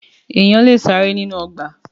Èèyàn lè ṣeré nínú ọgbà.